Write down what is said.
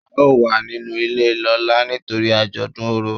a o wà ninú ilé lọla nítorí ajodùn Orò